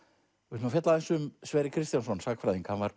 ætlum að fjalla aðeins um Sverri Kristjánsson sagnfræðing hann var